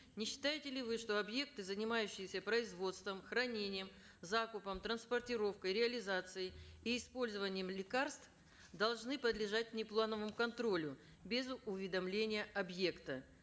не считаете ли вы что объекты занимающиеся производством хранением закупом транспортировкой реализацией и использованием лекарств должны подлежать внеплановому контролю без уведомления объекта